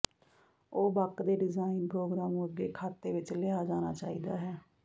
ਉਹ ਬਕ ਦੇ ਡਿਜ਼ਾਇਨ ਪ੍ਰੋਗਰਾਮ ਨੂੰ ਅੱਗੇ ਖਾਤੇ ਵਿੱਚ ਲਿਆ ਜਾਣਾ ਚਾਹੀਦਾ ਹੈ